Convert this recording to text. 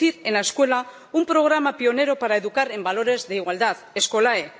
Introducir en la escuela un programa pionero para educar en valores de igualdad, Skolae